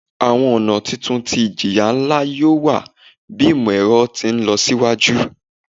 Awọn ọna titun ti ijiya nla yoo wa bi imọ-ẹrọ ti nlọsiwaju